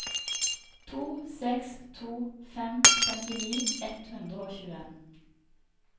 to seks to fem femtini ett hundre og tjueen